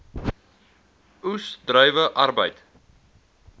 oes druiwe arbeid